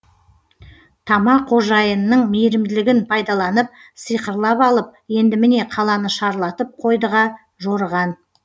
тама қожайынның мейірімділігін пайдаланып сиқырлап алып енді міне қаланы шарлатып қойдыға жорыған